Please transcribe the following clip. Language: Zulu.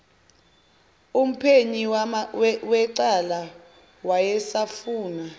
umphenyi wecala wayesafuna